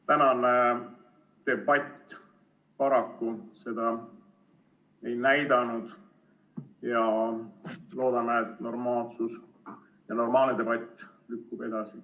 Tänane debatt paraku seda ei näidanud ja loodame, et normaalsus ja normaalne debatt lükkub edasi.